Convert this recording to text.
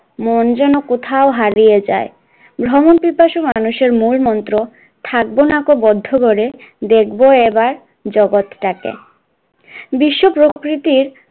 মন যেন কোথায় হারিয়ে যায়, ভ্রমণ পিপাসা মানুষের মন মন্ত্র থাকবো নাকো বদ্ধ ঘরে, দেখবে এবার জগৎটাকে, বিশ্ব প্রকৃতির